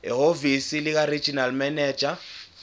ehhovisi likaregional manager